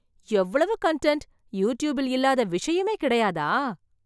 எவ்வளவு கன்டன்ட்! யூடியூபில் இல்லாத விஷயமே கிடையாதா?